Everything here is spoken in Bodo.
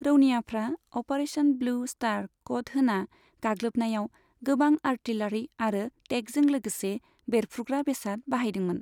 रौनियाफ्रा अपारेशन ब्लू स्टार क'ड होना गाग्लोबनायाव गोबां आर्टिलारि आरो टेंकजों लोगोसे बेरफ्रुग्रा बेसाद बाहयदोंमोन।